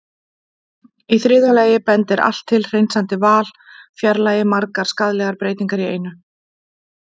Í þriðja lagi bendir allt til að hreinsandi val fjarlægi margar skaðlegar breytingar í einu.